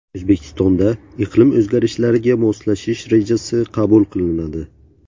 O‘zbekistonda iqlim o‘zgarishlariga moslashish rejasi qabul qilinadi.